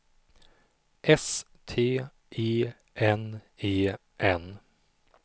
S T E N E N